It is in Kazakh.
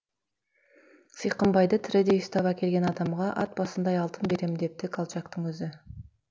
сиқымбайды тірідей ұстап әкелген адамға ат басындай алтын берем депті колчактың өзі